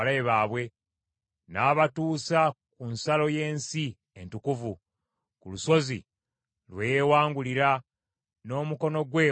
N’abatuusa ku nsalo y’ensi entukuvu; ku lusozi lwe yeewangulira, n’omukono gwe ogwa ddyo.